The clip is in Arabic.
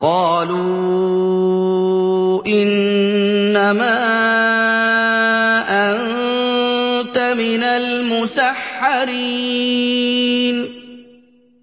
قَالُوا إِنَّمَا أَنتَ مِنَ الْمُسَحَّرِينَ